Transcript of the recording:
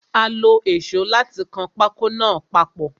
Ó lo èsó láti kan pákó náà papọ̀.